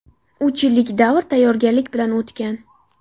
Uch yillik davr tayyorgarlik bilan o‘tgan.